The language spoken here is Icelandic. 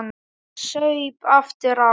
Ég saup aftur á.